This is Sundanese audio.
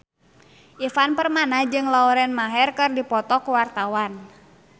Ivan Permana jeung Lauren Maher keur dipoto ku wartawan